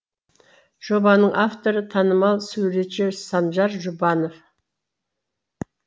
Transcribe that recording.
жобаның авторы танымал суретші санжар жұбанов